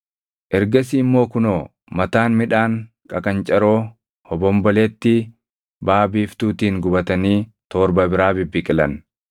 Ergasii immoo kunoo mataan midhaan qaqancaroo hobombolettii baʼaa biiftuutiin gubatanii torba biraa bibbiqilan.